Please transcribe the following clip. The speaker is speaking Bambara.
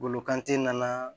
Bolo kante nana